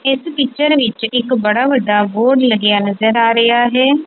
ਇਸ ਪੀਚਰ ਵਿੱਚ ਇੱਕ ਬੜਾ ਵੱਡਾ ਬੋਰਡ ਲੱਗਿਆ ਨਜ਼ਰ ਆ ਰਿਹਾ ਹੈ।